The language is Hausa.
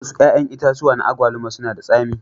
Wasu 'ƴa'ƴan itatuwa na agwaluma suna da tsami.